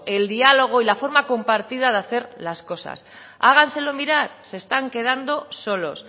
el diálogo y la forma compartida de hacer las cosas háganselo mirar se están quedando solos